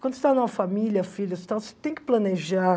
Quando você está em uma família, filhos e tal, você tem que planejar.